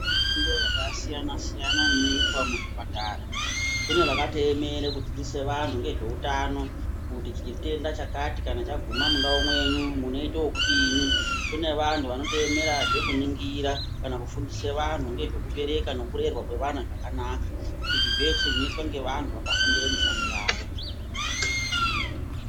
Mifundo yakasiyana-siyana inoitwa muzvipatara kune vakatoemera nezvekudzidzisa vantu nezveutano kuti chitenda chakati kana chaguma kuna umweni munoita wekudini kune vantu vanotoemerazve kuningira kana kufundise vantu nezvekubereka nekurerwa kwevana zvakanaka izvi zvese zvinoitwe nevantu vakafundire mishando yavo.